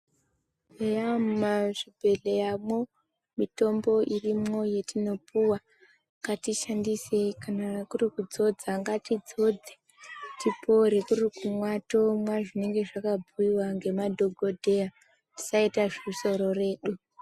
Eya mumazvibhedhleyamwo mitombo irimwo yetinopuva ngatiishandisei kana kuri kudzodza ngatidzodze tipore. Kuri kumwa tomwa zvinenge zvakabhuiva ngemadhogodheya tisaita zvesoro redu.